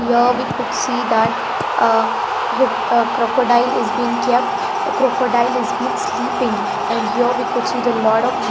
here we could see that ah crocodile is been kept crocodile is been sleeping and here we could see the lot of--